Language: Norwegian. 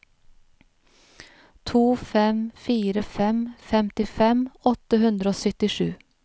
to fem fire fem femtifem åtte hundre og syttisju